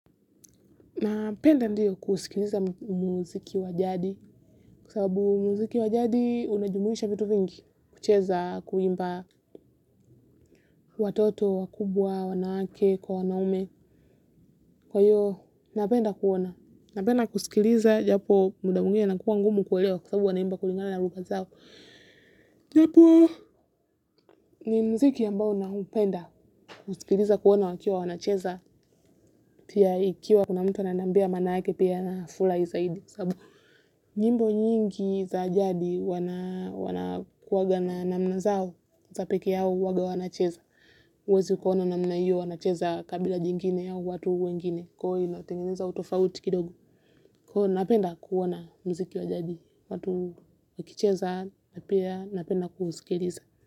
Napenda ndiyo kuusikiliza muziki wa jadi kwa sababu muziki wa jadi unajumuisha vitu vingi kucheza kuimba watoto, wakubwa, wanawake, kwa wanaume. Kwa hiyo, napenda kuona. Napenda kusikiliza japo muda mwingine inakuwa ngumu kuelewa kwa sababu wanaimba kulingana na lugha zao. Japo ni muziki ambao naupenda kusikiliza kuona wakiwa wanacheza pia ikiwa kuna mtu ananiambia maanake pia nafurahi zaidi. Nyimbo nyingi za jadi wanakuaga na namna zao za peke yao huaga wanacheza huwezi kuona namna hiyo wanacheza kabila jingine au watu wengine. Kwa hiyo inatengenezwa tofauti kidogo. Kwa hiyo napenda kuona muziki wa jadi. Watu wakicheza na pia napenda kuusikiliza.